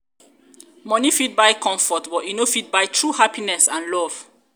moni um fit buy comfort but e no fit buy true happiness and love